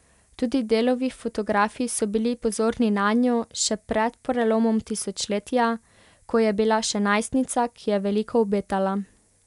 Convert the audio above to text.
Tudi Delovi fotografi so bili pozorni nanjo še pred prelomom tisočletja, ko je bila še najstnica, ki je veliko obetala.